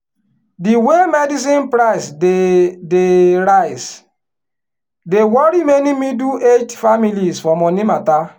the way medicine price dey dey rise dey worry many middle-aged families for money matter.